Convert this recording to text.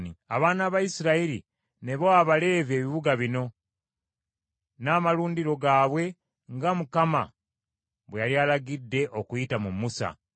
Abaana ba Isirayiri ne bawa Abaleevi ebibuga bino, n’amalundiro gaabwe nga Mukama bwe yali alagidde okuyita mu Musa.